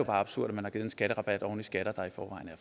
absurd at man har givet en skatterabat oven i skatter der